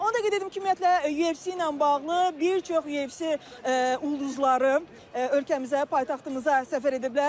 Onu da qeyd edim ki, ümumiyyətlə UFC ilə bağlı bir çox UFC ulduzları ölkəmizə, paytaxtımıza səfər ediblər.